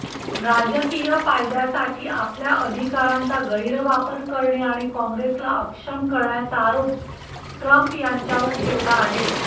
राजकीय फायद्यासाठी आपल्या अधिकारांचा गैरवापर करणे आणि काँग्रेसला अक्षम करण्याचा आरोप ट्रम्प यांच्यावर ठेवला आहे